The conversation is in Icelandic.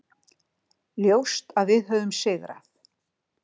Ljóst að við höfum sigrað